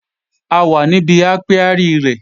A wà níbi ápíárì rẹ̀